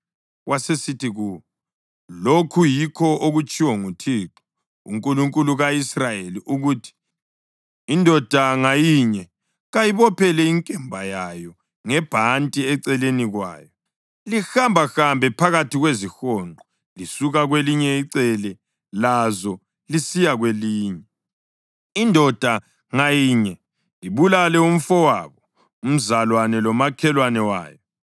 Wasesithi kuwo, “Lokhu yikho okutshiwo nguThixo, uNkulunkulu ka-Israyeli, ukuthi, ‘Indoda ngayinye kayibophele inkemba yayo ngebhanti eceleni kwayo, lihambahambe phakathi kwezihonqo lisuka kwelinye icele lazo lisiya kwelinye, indoda ngayinye ibulale umfowabo, umzalwane lomakhelwane wayo.’ ”